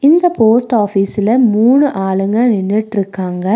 இந்த போஸ்ட் ஆஃபீஸ்ல மூணு ஆளுங்க நின்னுட்ருகாங்க.